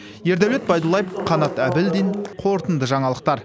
ердәулет байдуллаев қанат әбілдин қорытынды жаңалықтар